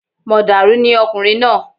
Mọ̀dàrú ni ọkùnrin náà